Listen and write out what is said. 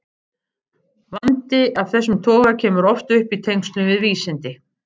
Vandi af þessum toga kemur oft upp í tengslum við vísindi.